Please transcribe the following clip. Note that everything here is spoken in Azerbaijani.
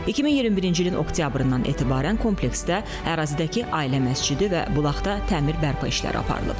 2021-ci ilin oktyabrından etibarən kompleksdə ərazidəki ailə məscidi və bulaqda təmir bərpa işləri aparılıb.